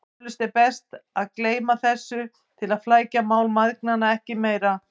Eflaust er best að gleyma þessu til að flækja mál mæðgnanna ekki meira.